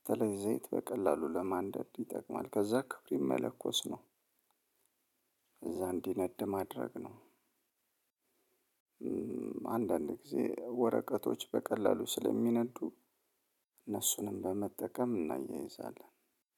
በተለይ ዘይት በቀላሉ ለማንደድ ይጠቅማል ከዛ ክብሪት መለከስ ነው። እዛ እንዲነድ ማድረግ ነው። አንዳንድ ጊዜ ወረቀቶች በቀላሉ ስለሚነዱ እነሱንም በመጠቀም እናያይዛለን።